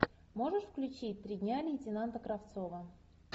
можешь включить три дня лейтенанта кравцова